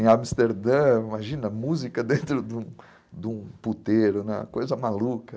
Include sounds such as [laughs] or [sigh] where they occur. Em Amsterdã, imagina, música dentro de um de um puteiro, né, [laughs] coisa maluca.